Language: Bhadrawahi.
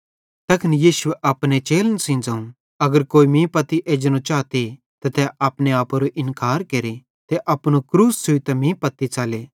तैखन यीशुए अपने चेलन सेइं ज़ोवं अगर कोई मीं पत्ती एजनो चाते त तै अपने आपेरो इन्कार केरे ते अपनू क्रूस छ़ुइतां मीं पत्ती च़ले